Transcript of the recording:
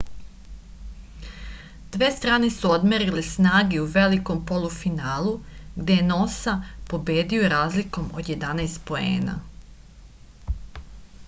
dve strane su odmerile snage u velikom polufinalu gde je nosa pobedio razlikom od 11 poena